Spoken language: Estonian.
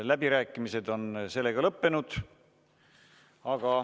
Läbirääkimised on sellega lõppenud.